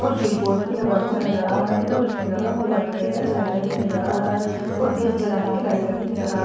और switch board भी लगा हुआ नजर आ रहा है और उसमें लगा हुआ व्हाइट कलर का चार्जर भी नजर आ रहा है और गैस जलाने के लाइटर भी नजर आ--